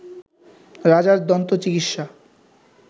রাজার দন্ত চিকিৎসা